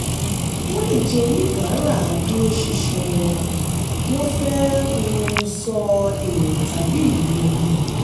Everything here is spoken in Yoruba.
wọ́n lè jẹ́ oníbàárà adúróṣinṣin wọ́n wọ́n fẹ́ um sọ èrò tàbí irírí wọn.